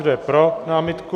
Kdo je pro námitku?